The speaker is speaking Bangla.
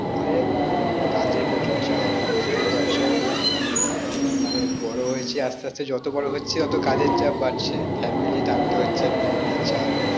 আরে কাজে প্রচুর চাপ বুঝতেই পারছো উম মানে বড়ো হইছি আস্তে আস্তে যত বড়ো হচ্ছি ততো কাজের চাপ বাড়ছে family টানতে হচ্ছে family চাপ